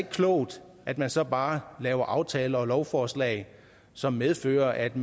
klogt at man så bare laver aftaler og lovforslag som medfører at